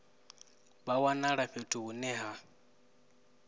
vha wanala fhethu hune ha